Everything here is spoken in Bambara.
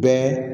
Bɛɛ